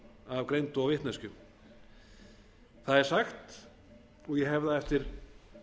af greind og vitneskju það er sagt og ég hef það eftir